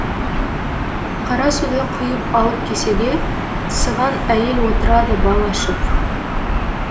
қара суды құйып алып кесеге сыған әйел отырады бал ашып